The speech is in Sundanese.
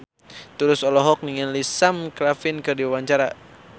Tulus olohok ningali Sam Claflin keur diwawancara